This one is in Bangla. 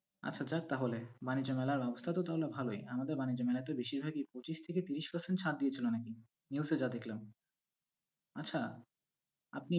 আচ্ছা যাক তাহলে। বানিজ্য মেলার অবস্থা তো তাহলে ভালোই। আমাদের বানিজ্য মেলায় তো বেশিরভাগই পঁচিশ থেকে তিরিশ percent ছাড় দিয়েছিলো নাকি, news -এ যা দেখলাম। আচ্ছা, আপনি আপনি বিশ্বকাপ নিয়ে